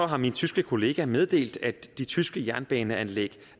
har min tyske kollega meddelt at de tyske jernbaneanlæg